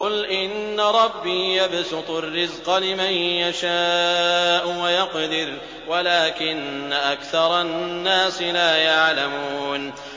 قُلْ إِنَّ رَبِّي يَبْسُطُ الرِّزْقَ لِمَن يَشَاءُ وَيَقْدِرُ وَلَٰكِنَّ أَكْثَرَ النَّاسِ لَا يَعْلَمُونَ